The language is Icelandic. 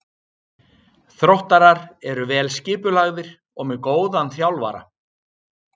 Þróttarar eru vel skipulagðir og með góðan þjálfara.